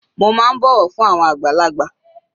Mo má ń bọ̀wọ̀ fún àwọn àgbàlagbà.